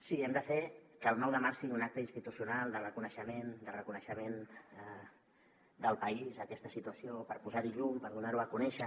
sí hem de fer que el nou de març sigui un acte institucional de reconeixement del país a aquesta situació per posar hi llum per donar ho a conèixer